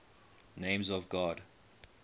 names of god